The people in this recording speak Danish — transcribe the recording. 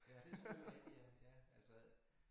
Ja det selvfølgelig rigtigt ja ja altså øh